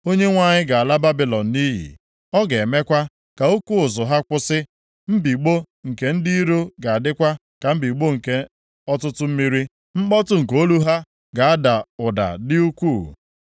Onyenwe anyị ga-ala Babilọn nʼiyi. Ọ ga-emekwa ka oke ụzụ ha kwụsị. Mbigbọ nke ndị iro ga-adịkwa ka mbigbọ nke ọtụtụ mmiri, mkpọtụ nke olu ha ga-ada ụda dị ukwuu.